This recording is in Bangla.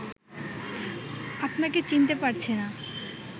আপনাকে চিনতে পারছে না